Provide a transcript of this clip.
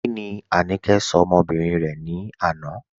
Kíni Áníkẹ̀ ṣọ̀ ọmọ́bìrín rẹ̀ ni àná?